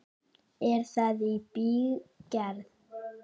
Er það í bígerð?